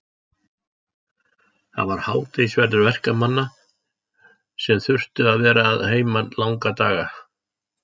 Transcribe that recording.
Það var hádegisverður verkamanna sem þurftu að vera að heiman langa daga.